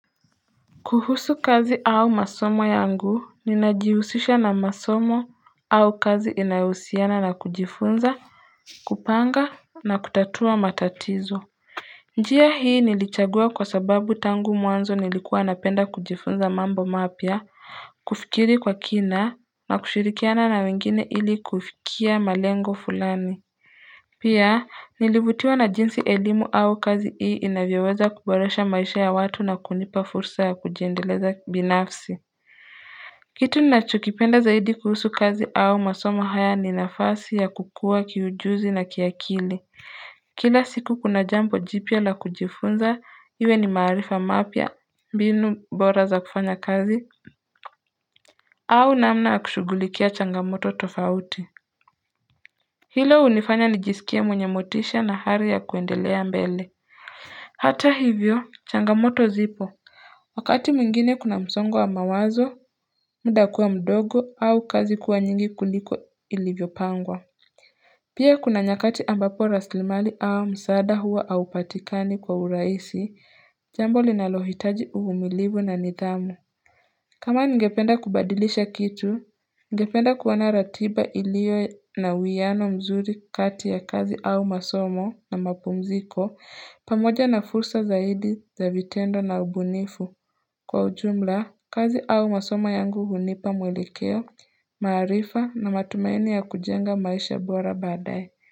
Kuhusu kazi au masomo yangu ninajihusisha na masomo au kazi inayohusiana na kujifunza, kupanga na kutatua matatizo. Njia hii nilichagua kwa sababu tangu mwanzo nilikuwa napenda kujifunza mambo mapya kufikiri kwa kina na kushirikiana na wengine ili kufikia malengo fulani Pia, nilivutiwa na jinsi elimu au kazi hii inavyoweza kuboresha maisha ya watu na kunipa fursa ya kujiendeleza binafsi. Kitu ninachokipenda zaidi kuhusu kazi au masomo haya ni nafasi ya kukuwa kiujuzi na kiakili. Kila siku kuna jambo jipya la kujifunza, iwe ni maarifa mapya, mbinu bora za kufanya kazi, au namna ya kushugulikia changamoto tofauti. Hilo hunifanya nijisikie mwenye motisha na hari ya kuendelea mbele Hata hivyo changamoto zipo Wakati mwingine kuna msongo wa mawazo muda kuwa mdogo au kazi kuwa nyingi kuliko ilivyopangwa Pia kuna nyakati ambapo raslimali au msaada huwa haupatikani kwa urahisi jambo linalohitaji uvumilivu na nidhamu kama ningependa kubadilisha kitu, ningependa kuwa na ratiba iliyo na uwiano mzuri kati ya kazi au masomo na mapumziko pamoja na fursa zaidi za vitendo na ubunifu kwa ujumla kazi au masomo yangu hunipa mwelekeo, maarifa na matumaini ya kujenga maisha bora baadaye.